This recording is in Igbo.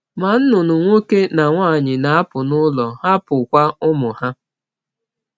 Ma nnụnụ nwoke na nwanyị na-apụ n’ụlọ, hapụkwa ụmụ ha.